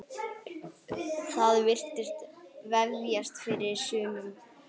Það virðist vefjast fyrir sumum.